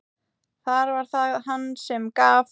Þar var það hann sem gaf.